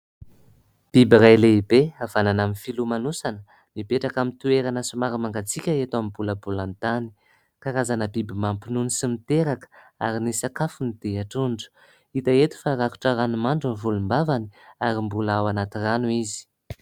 Biby iray lehibe havanana amin'ny filomanosana mipetraka amin'ny toerana somary mangatsiaka eto amin'ny bolabolantany. Karazana biby mampinono sy miteraka ary ny sakafony dia trondro. Hita eto fa rakotra ranomandry ny volombavany ary mbola ao anaty rano izy.